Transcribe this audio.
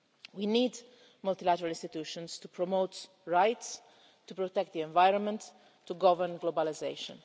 We need multilateral institutions to promote rights, to protect the environment and to govern globalisation.